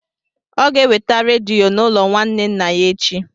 Ọ ga-eweta rediyo n'ụlọ nwanne nna ya echi.